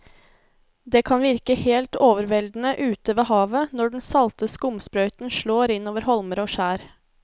Det kan virke helt overveldende ute ved havet når den salte skumsprøyten slår innover holmer og skjær.